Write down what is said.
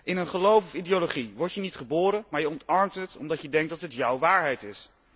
In een geloof of ideologie word je niet geboren, maar je omarmt het omdat je denkt dat het jouw waarheid is.